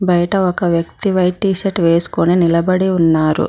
బయట ఒక వ్యక్తి వైట్ టీషర్ట్ వేసుకొని నిలబడి ఉన్నారు.